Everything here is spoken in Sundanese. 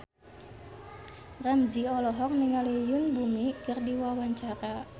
Ramzy olohok ningali Yoon Bomi keur diwawancara